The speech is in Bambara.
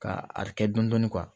Ka a kɛ dɔndɔni